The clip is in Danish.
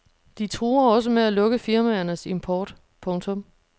De truer også med at lukke firmaernes import. punktum